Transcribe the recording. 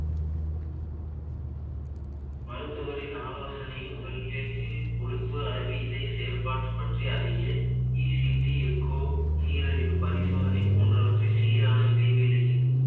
மருத்துவரின் ஆலோசனையும் உடலில்~ ல் கொழுப்பு அளவு இதய செயற்பாட்டு பற்றி அறிய ECG echo நீரழிவு பரிசோதனை போன்றவற்றை சீரான இடைவேளையில்